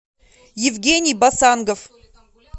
евгений басангов